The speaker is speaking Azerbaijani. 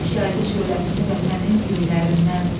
Günəş yaydı şöləsini vətənin göylərindən.